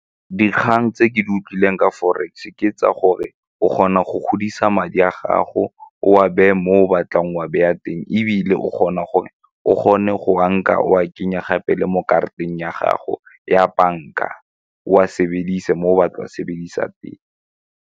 Dikgang tse ke di utlwileng ka forex ke tsa gore o kgona go godisa madi a gago o a beye mo o batlang wa beya teng ebile o kgona gore o kgone go wa nka o a kenye gape le mo karateng ya gago ya banka, o a sebedise mo o batlang go a sebedisa teng.